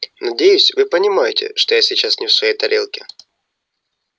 надеюсь вы понимаете что я сейчас не в своей тарелке